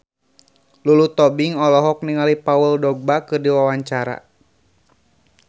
Lulu Tobing olohok ningali Paul Dogba keur diwawancara